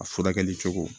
A furakɛli cogo